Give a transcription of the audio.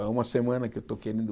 É uma semana que eu estou querendo...